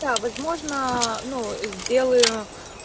да возможно ну сделаю